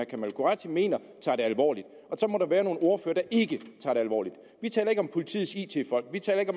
kamal qureshi mener tager det alvorligt og så må der være nogle ordførere der ikke tager det alvorligt vi taler ikke om politiets it folk vi taler ikke